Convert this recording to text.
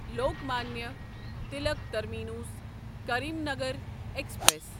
Lokmanya Tilak terminus Karimnagar express